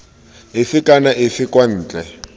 efe kana efe kwa ntle